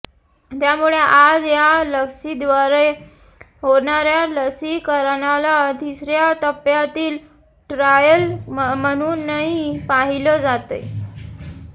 त्यामुळे आज या लसीद्वारे होणाऱ्या लसीकरणाला तिसऱ्या टप्प्यातील ट्रायल म्हणूनही पाहिलं जातंय